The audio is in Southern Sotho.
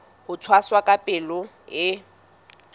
ho tshwasa ka palo e